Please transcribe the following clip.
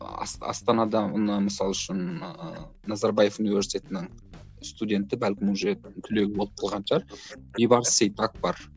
астанада мына мысалы үшін ыыы назарбаев университетінің студенті бәлкім уже түлегі болып қалған шығар бейбарыс сейтак бар